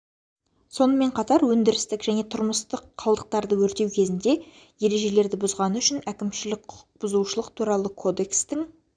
сонымен қатар өндірістік және тұрмыстық қалдықтарды өртеу кезінде ережелерді бұзғаны үшін әкімшілік құқық бұзушылық туралы кодекстің